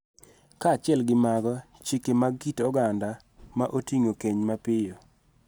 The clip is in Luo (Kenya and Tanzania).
Kaachiel gi mago, chike mag kit oganda ma oting�o keny mapiyo,